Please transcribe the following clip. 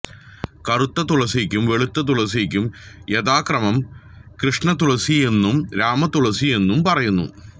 കറുത്ത തുളസിക്കും വെളുത്ത തുളസിക്കും യഥാക്രമം കൃഷ്ണതുളസിയെന്നും രാമതുളസിയെന്നും പറയുന്നു